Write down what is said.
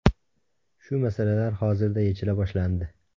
Shu masalalar hozirda yechila boshlandi.